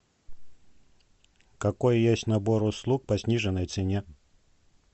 какой есть набор услуг по сниженной цене